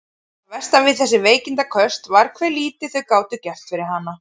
Það versta við þessi veikindaköst var hve lítið þau gátu gert fyrir hana.